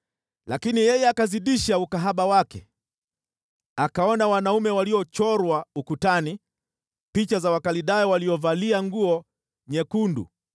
“Lakini yeye akazidisha ukahaba wake. Akaona wanaume waliochorwa ukutani, picha za Wakaldayo waliovalia nguo nyekundu,